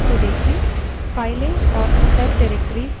अब output को देखें